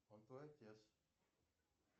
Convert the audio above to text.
он твой отец